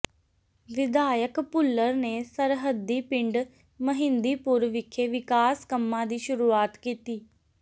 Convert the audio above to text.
ਵਿਧਾਇਕ ਭੁੱਲਰ ਨੇ ਸਰਹੱਦੀ ਪਿੰਡ ਮਹਿੰਦੀਪੁਰ ਵਿਖੇ ਵਿਕਾਸ ਕੰਮਾਂ ਦੀ ਸ਼ੁਰੂਆਤ ਕੀਤੀ